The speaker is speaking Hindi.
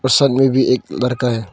सामने भी एक लड़का है।